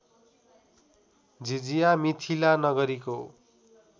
jhijhiya Mithila नगरीको